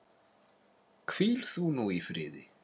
Hvíl þú nú í friði.